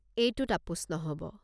এইটোত আপোচ নহ'ব।